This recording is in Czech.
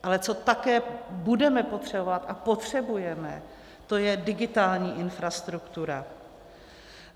Ale co také budeme potřebovat a potřebujeme, to je digitální infrastruktura.